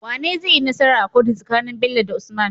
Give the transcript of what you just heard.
Wane zaiyi nasara a kotu tsakanin Bello da usman?